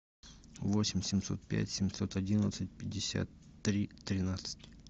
восемь семьсот пять семьсот одиннадцать пятьдесят три тринадцать